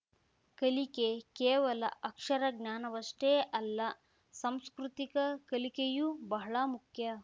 ಕಲಿಕೆ ಕೇವಲ ಅಕ್ಷರಜ್ಞಾನವಷ್ಟೇ ಅಲ್ಲ ಸಾಂಸ್ಕೃತಿಕ ಕಲಿಕೆಯೂ ಬಹಳ ಮುಖ್ಯ